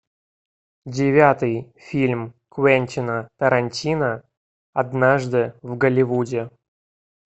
девятый фильм квентина тарантино однажды в голливуде